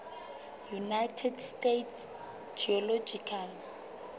united states geological